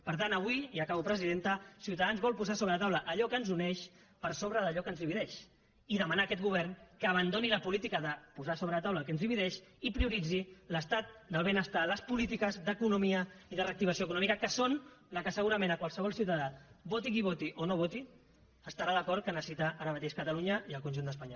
per tant avui i acabo presidenta ciutadans vol posar sobre la taula allò que ens uneix per sobre d’allò que ens divideix i demanar a aquest govern que abandoni la política de posar sobre la taula el que ens divideix i prioritzi l’estat del benestar les polítiques d’economia i de reactivació econòmica que són les que segurament qualsevol ciutadà voti a qui voti o no voti estarà d’acord que necessiten ara mateix catalunya i el conjunt d’espanya